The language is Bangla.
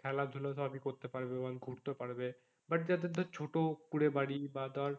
খেলা ধুলো তো আমি করতে পারবে করতেও পারবে but যাদের ধর ছোটো কুড়ে বাড়ি বা তার